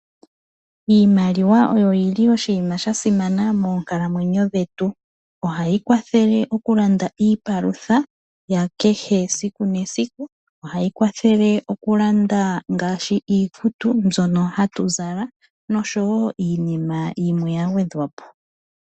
Iimaliwa oyo yili oshinima sha simana moonkalamwenyo dhetu ohayi kwathele okulanda iipalutha yakehe esiku nesiku, ohayi kwathele okulanda ngaashi iikutu mbyono hatu zala niinima yimwe ya gwedhwa po.